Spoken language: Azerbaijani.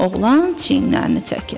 Oğlan çiyinlərini çəkir.